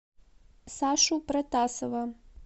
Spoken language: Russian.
сашу протасова